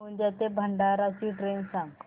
गोंदिया ते भंडारा ची ट्रेन सांग